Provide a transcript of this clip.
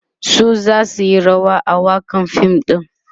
su zasu Yi rawa a wakan fim ɗin